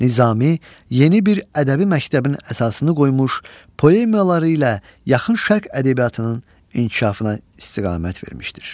Nizami yeni bir ədəbi məktəbin əsasını qoymuş, poemaları ilə yaxın Şərq ədəbiyyatının inkişafına istiqamət vermişdir.